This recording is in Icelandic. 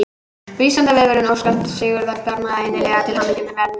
Vísindavefurinn óskar Sigþóri Bjarma innilega til hamingju með verðlaunin!